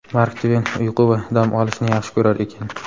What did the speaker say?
Mark Tven uyqu va dam olishni yaxshi ko‘rar ekan.